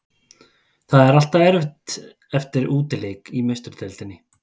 Það er alltaf erfitt eftir útileik í Meistaradeildinni.